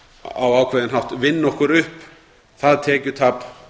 á ákveðinn hátt vinna okkur upp það tekjutap